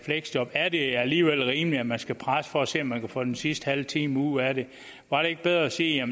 fleksjob er det alligevel rimeligt at man skal presse for at se om man kan få den sidste halve time ud af det var det ikke bedre at sige